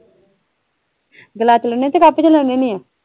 Glass ਚ ਲੈਣੀ ਹੁਨੀ ਕੇ ਕਪ ਚ ਲੈਣੀ ਹੁਨੀ ਆ?